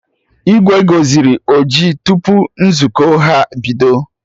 Igwe gọziri ọjị tupu nzukọ ha bido